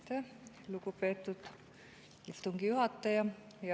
Aitäh, lugupeetud istungi juhataja!